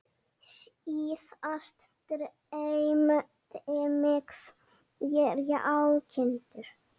Síðast dreymdi mig þrjár kindur.